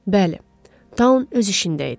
Bəli, Tau öz işində idi.